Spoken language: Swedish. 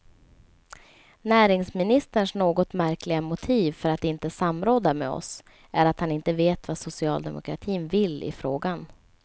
Näringsministerns något märkliga motiv för att inte samråda med oss är att han inte vet vad socialdemokratin vill i frågan.